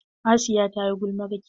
Hasiya ta yi gulmarki.